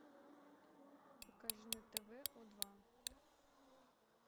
покажи на тв о два